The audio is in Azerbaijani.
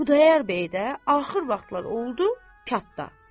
Xudayar bəy də axır vaxtlar oldu çatda.